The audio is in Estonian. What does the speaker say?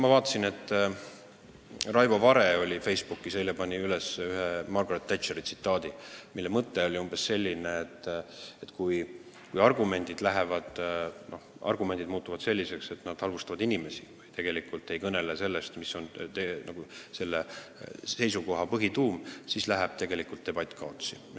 Ma vaatasin, et Raivo Vare oli Facebookis eile üles pannud ühe Margaret Thatcheri tsitaadi, mille mõte oli umbes selline, et kui argumendid muutuvad selliseks, et nad halvustavad inimesi ega kõnele sellest, mis on konkreetse seisukoha põhituum, siis läheb debatt kaotsi.